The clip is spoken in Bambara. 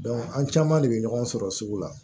an caman de bɛ ɲɔgɔn sɔrɔ sugu la